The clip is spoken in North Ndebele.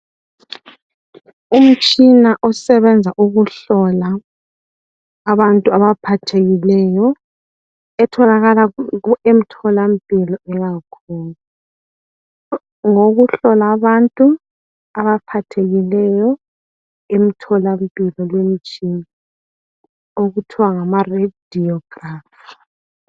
Umtshina osebenza ukuhlola abantu abaphathekileyo etholakala emtholampilo eyakhona. Ngowokuhlola abantu abaphathekileyo emtholampilo leyi mitshina okuthiwa ngama"Radiograph".